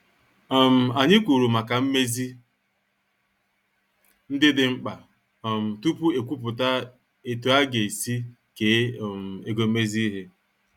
um Anyị kwuru maka mmezi ndị dị mkpa um tupu ekwupụta etu aga- esi kee um ego mmezi ihe.